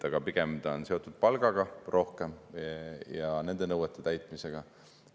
Aga pigem on see seotud palgaga ja nende nõuete täitmisega.